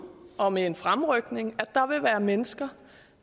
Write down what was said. og med en fremrykning at der vil være mennesker